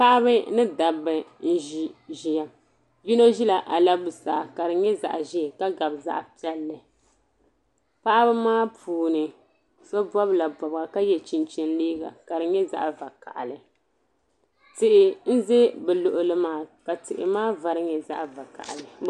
Paɣiba ni dabba n-ʒi ʒiya. Yino ʒila alabusaa ka di nyɛ zaɣ' ʒee ka gabi zaɣ' piɛlli. Paɣiba maa puuni so bɔbila bɔbiga ka ye chinchini liiga ka di nyɛ zaɣ' vakahili. Tihi n-za bɛ luɣili maa ka tihi maa vari nyɛ zaɣ' vakahili.